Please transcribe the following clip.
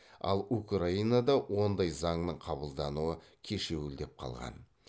ал украинада ондай заңның қабылдануы кешеуілдеп қалған